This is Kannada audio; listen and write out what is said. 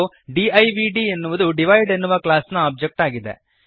ಮತ್ತು ಡಿವ್ಡ್ ಎನ್ನುವುದು ದಿವಿದೆ ಎನ್ನುವ ಕ್ಲಾಸ್ನ ಒಬ್ಜೆಕ್ಟ್ ಆಗಿದೆ